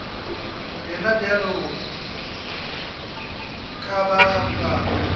yena bjalo ka ba bangwe